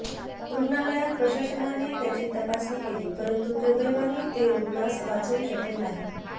रुग्णालय प्रशासनाने त्याची तपासणी केली परंतु दुर्दैवाने ते रुग्णास वाचवू शकले नाही